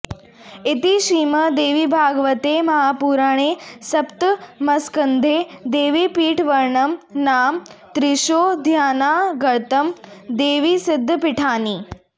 इति श्रीमद्देवीभागवते महापुराणे सप्तमस्कन्धे देवीपीठवर्णनं नाम त्रिंशोऽध्यायान्तर्गतं देवीसिद्धपीठानि